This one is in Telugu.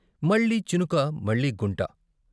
మళ్ళీ చినుక మళ్ళీ గుంట.